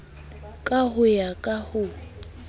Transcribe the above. ka ho ya ka ho